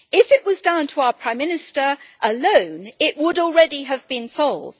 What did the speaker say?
If it were down to our Prime Minister alone, it would already have been sold.